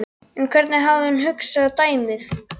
En hvernig hafði hún hugsað dæmið?